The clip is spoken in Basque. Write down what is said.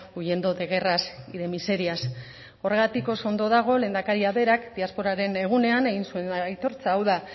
huyendo de guerras y de miserias horregatik oso ondo dago lehendakariak berak diasporaren egunean egin zuen aitortza hau da